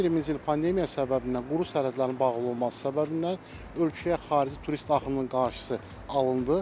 2020-ci il pandemiya səbəbindən quru sərhədlərin bağlı olması səbəbindən ölkəyə xarici turist axınının qarşısı alındı.